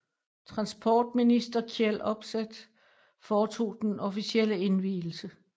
Transportminister Kjell Opseth foretog den officielle indvielse